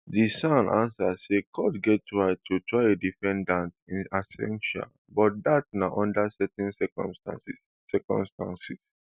di san answer say court get right to try a defendant in absentia but dat na under certain circumstances circumstances